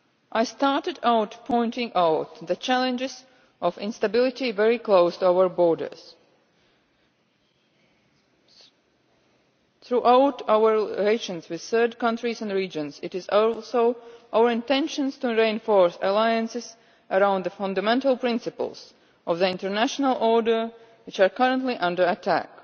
I started out pointing out the challenges of instability very close to our borders. Through our relations with third countries and regions, it is also our intention to reinforce alliances around the fundamental principles of the international order which are currently under attack.